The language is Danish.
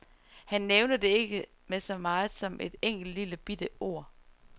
Han nævnte det ikke med så meget som et enkelt lille bitte ord.